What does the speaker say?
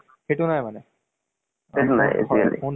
web series ইমান নাচাওঁ মই